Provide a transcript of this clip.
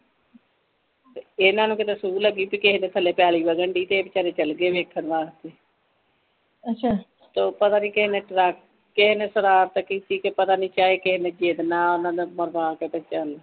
ਇਹਨਾਂ ਨੂੰ ਕਿਦੇ ਸੂਹ ਲਗੀ ਕੀ ਕਿਸੀ ਦੇ ਥਲੇ ਕੇਲੀ ਵਗੰਡੀ ਤੇ ਇਹ ਬੇਚਾਰੇ ਚਲੇ ਗਏ ਵੇਖਣ ਵਾਸਤੇ ਤੋਂ ਪਤਾ ਨਹੀਂ ਕੀਹਨੇ ਸ਼ਰਾਰਤ ਕੀਤੀ ਕੇ ਪਤਾ ਨਹੀਂ ਚੇਤਨਾ ਓਹਨਾ ਦੇ ਪਰਿਵਾਰ ਨਾਲ ਤੇ ਚਲ